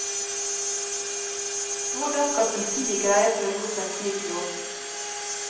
Hvordan skal politiet greie å følge opp en slik lov?